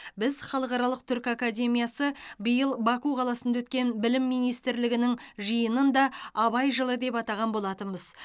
біз халықаралық түркі академиясы биыл баку қаласында өткен білім министрлерінің жиынын да абай жылы деп атаған болатынбыз